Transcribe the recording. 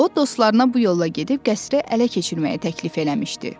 O dostlarına bu yolla gedib qəsri ələ keçirməyə təklif eləmişdi.